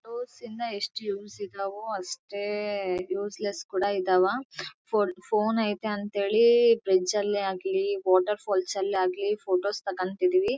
ಇನ್ನ ಎಸ್ಟ್ ಯೂಸ್ ಇದಾವೆ ಅಷ್ಟೇ ಯೂಸ್ಲೆಸ್ ಕೂಡ ಇದ್ದವ. ಫೋನ್ ಐತೆ ಅಂತ ಹೇಳಿ ಬ್ರಿಡ್ಜ್ ಅಲ್ಲೇ ಆಗ್ಲಿ ವಾಟರ್ ಫಾಲ್ಸ್ ಅಲ್ಲೇ ಆಗ್ಲಿ ಫೋಟೋ ತೊಗಂತ ಇದೀವಿ.